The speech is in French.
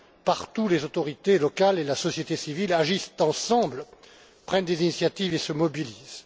Partout, les autorités locales et la société civile agissent ensemble, prennent des initiatives et se mobilisent.